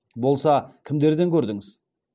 болса кімдерден көрдіңіз